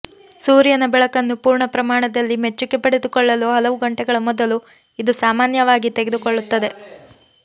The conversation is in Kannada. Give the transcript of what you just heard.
ಸೂರ್ಯನ ಬೆಳಕನ್ನು ಪೂರ್ಣ ಪ್ರಮಾಣದಲ್ಲಿ ಮೆಚ್ಚುಗೆ ಪಡೆದುಕೊಳ್ಳಲು ಹಲವು ಗಂಟೆಗಳ ಮೊದಲು ಇದು ಸಾಮಾನ್ಯವಾಗಿ ತೆಗೆದುಕೊಳ್ಳುತ್ತದೆ